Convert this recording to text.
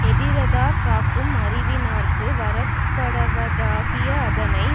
எதிரதா காக்கும் அறிவினார்க்கு வரக்கடவதாகிய அதனை